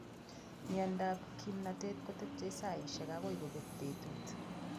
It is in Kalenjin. Miondap kimnatet kotepche saishek akoi kopek petut